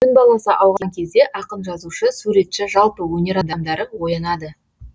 түн баласы ауған кезде ақын жазушы суретші жалпы өнер адамдары оянады